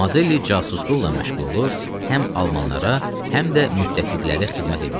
Mazelli casusluqla məşğul olur, həm almanlara, həm də müttəfiqlərə xidmət eləyirdi.